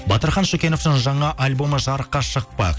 батырхан шөкеновтің жаңа альбомы жарыққа шықпақ